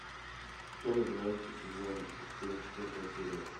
темный дворецкий сезон семь четвертая серия